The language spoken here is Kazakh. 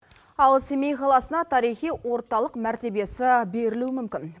ал семей қаласына тарихи орталық мәртебесі берілуі мүмкін